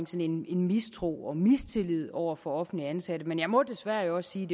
sådan en mistro og mistillid over for offentligt ansatte men jeg må desværre også sige